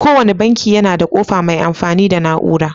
Ko wanne banki yana da ƙofa mai amfani da na 'ura.